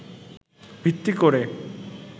ভিত্তি করে